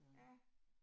Ja